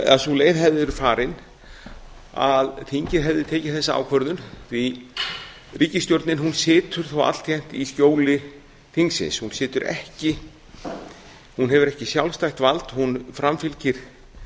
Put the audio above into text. að sú leið hefði verið farin að þingið hefði tekið þessa ákvörðun því ríkisstjórnin situr þó altjend í skjóli þingsins hún hefur ekki sjálfstætt vald hún framfylgir